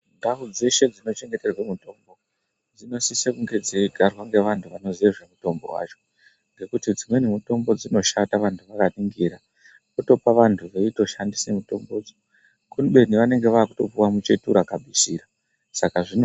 Ndau dzeshe dzinochengeterwe mutombo dzinosise kunge dzeigarwe ngeantu vanozive zvemutombo vacho. Ngekuti dzimweni mutombo dzinoshanda vantu vakaningira votopa vantu veitoshandise mutombodzo kubeni vanenga vakutopuwa muchetura kabisira saka zvino.